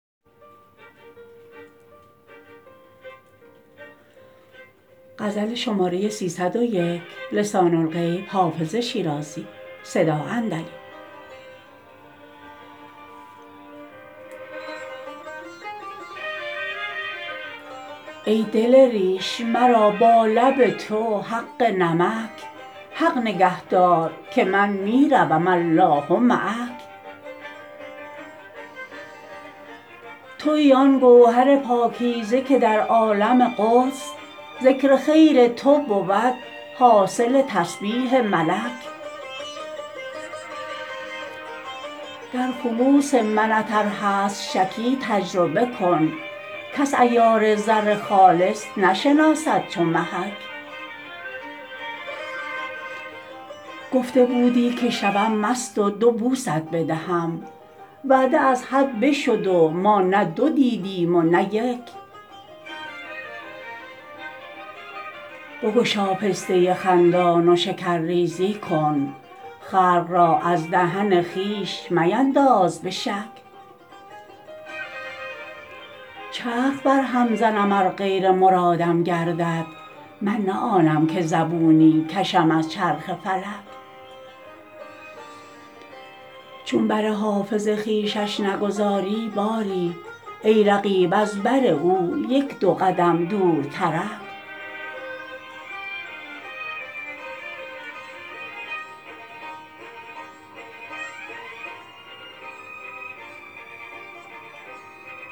ای دل ریش مرا با لب تو حق نمک حق نگه دار که من می روم الله معک تویی آن گوهر پاکیزه که در عالم قدس ذکر خیر تو بود حاصل تسبیح ملک در خلوص منت ار هست شکی تجربه کن کس عیار زر خالص نشناسد چو محک گفته بودی که شوم مست و دو بوست بدهم وعده از حد بشد و ما نه دو دیدیم و نه یک بگشا پسته خندان و شکرریزی کن خلق را از دهن خویش مینداز به شک چرخ برهم زنم ار غیر مرادم گردد من نه آنم که زبونی کشم از چرخ فلک چون بر حافظ خویشش نگذاری باری ای رقیب از بر او یک دو قدم دورترک